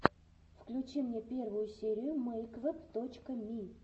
включи мне первую серию мэйквэб точка ми